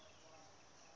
isebe